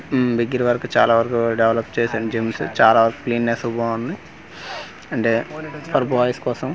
ఉమ్ దగ్గర వరకు చాలా వరకు డెవలప్ చేశాను జిమ్స్ చాలా క్లినెస్ బాంది అంటే ఇక్కడ బాయ్స్ కోసం.